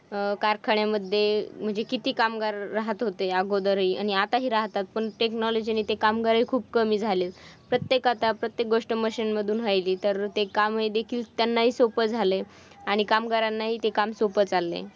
कारखान्यामध्ये म्हणजे किती कामगार राहत होते अगोदर हि आणि आताही राहतात पण technology ने ते कामगार हि खूप कमी झालेत प्रत्येक आता प्रत्येक गोष्ट मशीन मधून व्हयली तर ते काम त्याना हि सोपं झालंय. आणि कामगारांनाही ते काम सोपं चाललंय.